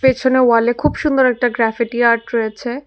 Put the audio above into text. পেছনে ওয়াল এ খুব সুন্দর একটা গ্ৰ্যাফেটি আর্ট রয়েছে।